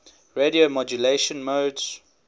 radio modulation modes